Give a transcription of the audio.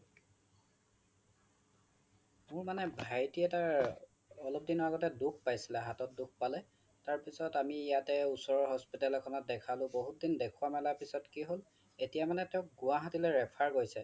মোৰ মানে ভাইতি এটাৰ অলপ দিন আগতে দুখ পাইছিলে হাতত, হাতত দুখ পালে তাৰ পিছ্ত আমি ইয়াতে ওচৰৰ hospital এখনত দেখালো বহুত দিন দেখুৱা মেলাৰ পিছত কি হল এতিয়া মানে তেওঁক গুৱাহাটী লৈ refer কৰিছে বহুত দিন দেখুৱা মেলাৰ পিছত কি হল এতিয়া মানে তেওঁক গুৱাহাটী লৈ refer কৰিছে